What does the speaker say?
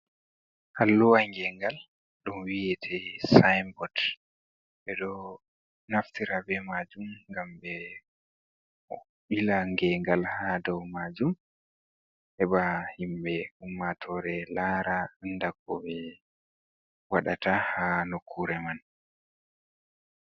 Alluwa ngengal, ɗum wi'ete sainbot, ɓe ɗo naftira be maajum ngam ɓe ɓila ngegal ha dou maajum heɓa himɓe ummatore laara anda ko ɓe waɗata ha nokkure man.